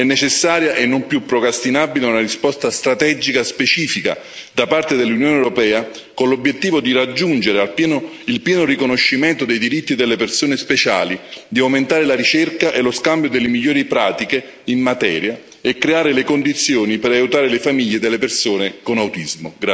È necessaria e non più procrastinabile una risposta strategica specifica da parte dell'Unione europea, con l'obiettivo di raggiungere il pieno riconoscimento dei diritti delle persone speciali di aumentare la ricerca e lo scambio delle migliori pratiche in materia e creare le condizioni per aiutare le famiglie delle persone con autismo.